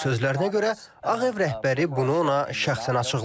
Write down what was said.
Onun sözlərinə görə Ağ Ev rəhbəri bunu ona şəxsən açıqlayıb.